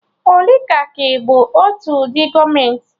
Oligaki bụ otu ụdị gọọmenti